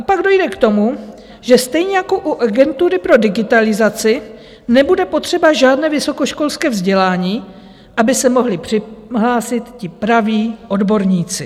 A pak dojde k tomu, že stejně jako u Agentury pro digitalizaci nebude potřeba žádné vysokoškolské vzdělání, aby se mohli přihlásit ti praví odborníci.